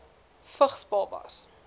vigs babas